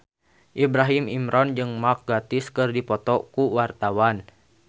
Ibrahim Imran jeung Mark Gatiss keur dipoto ku wartawan